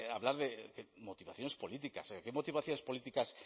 hablar de motivaciones políticas qué motivaciones políticas